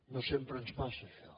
no sempre ens passa això